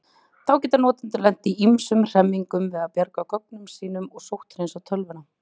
Þá geta notendur lent í ýmsum hremmingum við að bjarga gögnunum sínum og sótthreinsa tölvuna.